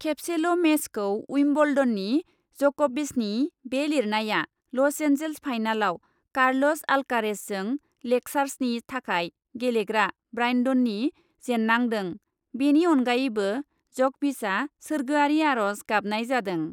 खेबसेल ' मेचखौ उइम्बल्डननि जकभिचनि बे लिरनाया लसएन्जेल्स फाइनालाव कार्लस अल्कारेजजों लेकार्सनि थाखाय गेलेग्रा ब्रायन्डनि जेन्नांदों बेनि अनगायैबो जकभिचआ सोर्गोयारि आर'ज गाबनाय जादों ।